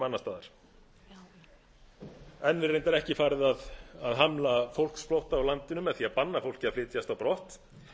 annars staðar enn er reyndar ekki farið að hamla fólksflótta á landinu með því að banna fólki að flytjast á brott